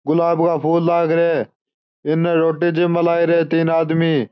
गुलाब का फूल लाग रिया है इनने रोटी जिम्बा लाग रिया है तीन आदमी।